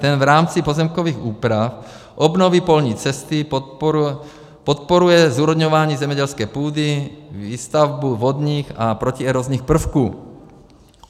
Ten v rámci pozemkových úprav, obnovy polní cesty podporuje zúrodňování zemědělské půdy, výstavbu vodních a protierozních prvků.